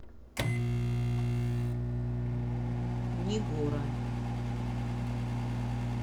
нигора